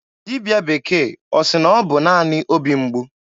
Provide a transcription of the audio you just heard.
Dibịa bekee ọ sị na ọ bụ naanị obi mgbu?